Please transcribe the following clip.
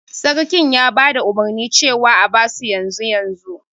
Sarkin ya bada umurni cewa a abasu yanzu yanzu